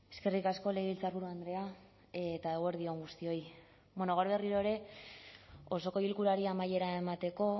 eskerrik asko legebiltzarburu andrea eguerdi on guztioi bueno gaur berriro ere osoko bilkurari amaiera emateko